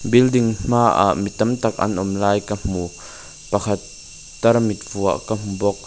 building hmaah mi tam tak an awm lai ka hmu pakhat tarmit vuah ka hmu bawk.